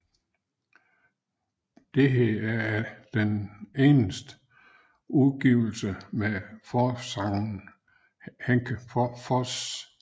Dette er den eneste udgivelse med forsangeren Henke Forss